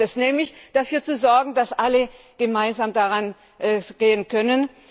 Darum geht es nämlich, dafür zu sorgen, dass alle gemeinsam da rangehen können.